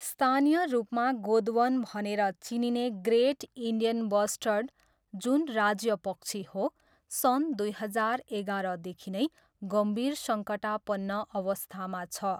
स्थानीय रूपमा गोदवन भनेर चिनिने ग्रेट इन्डियन बस्टर्ड, जुन राज्यपक्षी हो, सन् दुई हजार एघारदेखि नै गम्भीर सङ्कटापन्न अवस्थामा छ।